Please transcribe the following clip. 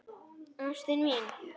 Ástin mín!